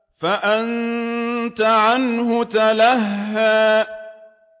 فَأَنتَ عَنْهُ تَلَهَّىٰ